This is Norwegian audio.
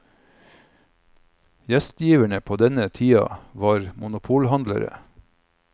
Gjestgiverne på denne tida var monopolhandlere.